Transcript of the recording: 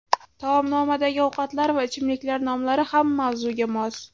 Taomnomadagi ovqatlar va ichimliklar nomlari ham mavzuga mos.